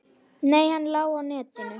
Nei, hann lá í netinu.